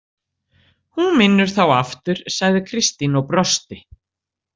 Hún vinnur þá aftur, sagði Kristín og brosti.